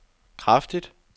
kraftigt